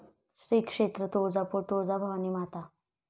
श्री क्षेत्र तुळजापूर तुळजाभवानी माता